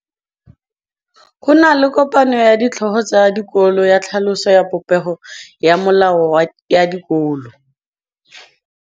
Go na le kopanô ya ditlhogo tsa dikolo ya tlhaloso ya popêgô ya melao ya dikolo.